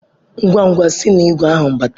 Ngwa-ngwa si na igwe ahụ gbadata!